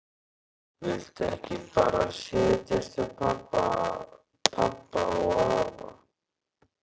Viltu ekki bara setjast hjá pabba og afa?